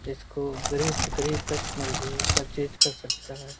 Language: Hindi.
इसको गरीब से गरीब कस्टमर भी पर्चेस कर सकता है।